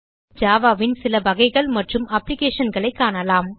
இப்போது ஜாவா ன் சில வகைகள் மற்றும் அப்ளிகேஷன்ஸ் ஐ காணலாம்